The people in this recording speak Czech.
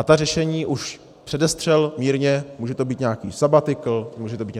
A ta řešení už předestřel mírně - může to být nějaký sabatikl, může to být